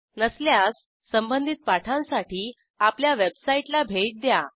नसल्यास संबधित पाठांसाठी आपल्या वेबसाईटला भेट द्या